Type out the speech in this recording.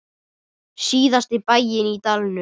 Síðasta bæinn í dalnum.